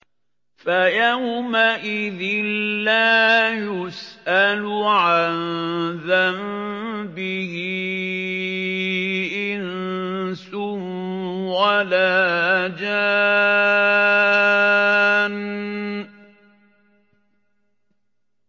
فَيَوْمَئِذٍ لَّا يُسْأَلُ عَن ذَنبِهِ إِنسٌ وَلَا جَانٌّ